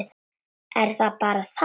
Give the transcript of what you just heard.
Er það bara það?